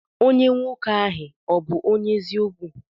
Onye nwoke ahi ọbu onye eziokwu?